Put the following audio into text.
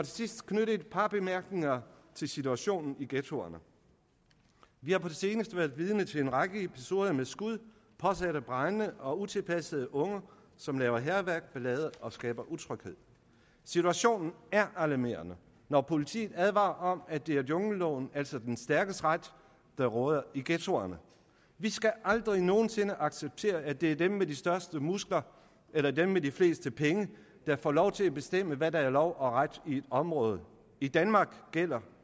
sidst knytte et par bemærkninger til situationen i ghettoerne vi har på det seneste været vidne til en række episoder med skud påsatte brande og utilpassede unge som laver hærværk og ballade og skaber utryghed situationen er alarmerende når politiet advarer om at det er jungleloven altså den stærkes ret der råder i ghettoerne vi skal aldrig nogen sinde acceptere at det er dem med de største muskler eller dem med de fleste penge der får lov til at bestemme hvad der er lov og ret i et område i danmark gælder